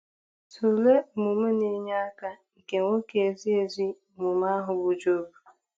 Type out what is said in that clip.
Tụlee omume na-enye aka nke nwoke ezi ezi omume ahụ bụ́ Job.